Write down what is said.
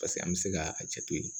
Paseke an bɛ se k'a jate to yen